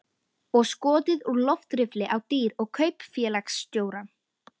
Og skotið úr loftriffli á dýr og kaupfélagsstjórann.